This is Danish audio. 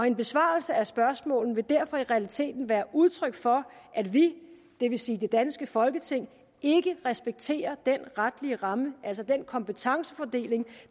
en besvarelse af spørgsmålene vil derfor i realiteten være udtryk for at vi det vil sige det danske folketing ikke respekterer den retlige ramme altså den kompetencefordeling